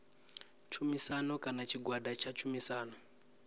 tshumisano kana tshigwada tsha tshumisano